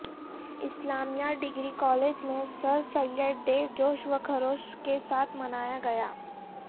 اسلامیہ degree college میں sir Syed day جوش و خروش کے ساتھ منایاگیا